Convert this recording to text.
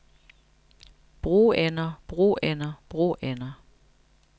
broender broender broender